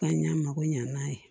K'an y'a mako ɲan'a ye